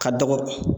Ka dɔgɔ